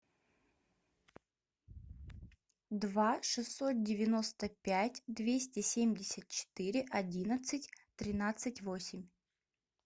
два шестьсот девяносто пять двести семьдесят четыре одиннадцать тринадцать восемь